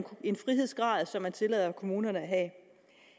en frihedsgrad som man tillader kommunerne at have